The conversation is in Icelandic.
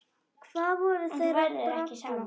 En þú verður ekki samur.